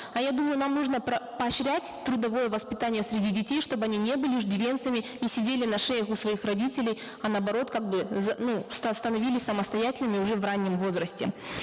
а я думаю нам нужно поощрять трудовое воспитание среди детей чтобы они не были иждивенцами и сидели на шеях у своих родителей а наоборот как бы ну становились самостоятельными уже в раннем возрасте